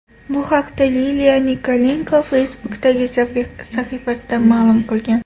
Bu haqda Liliya Nikolenko Facebook’dagi sahifasida ma’lum qilgan .